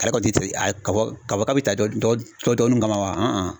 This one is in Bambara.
Kari kɔni ti a kaba bi ta dɔ tɔdɔni kaban wa